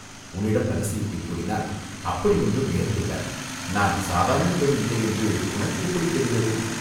உன்னிடம் இரகசியத்தைக் கூறினால் அப்படி ஒன்றும் நேர்ந்துவிடாது." "நான் சாதாரணப் பெண் இல்லையென்று உனக்கு எப்படித் தெரிந்தது?